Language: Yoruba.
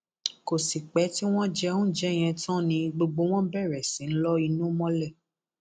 kò sì pẹ tí wọn jẹ oúnjẹ yẹn tán ni gbogbo wọn bẹrẹ sí í lo inú mọlẹ